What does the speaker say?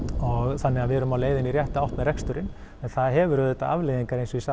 þannig að við erum á leiðinni í rétta átt með reksturinn en það hefur auðvitað afleiðingar eins og ég sagði